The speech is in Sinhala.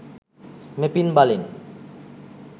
මෙපින් බලෙන්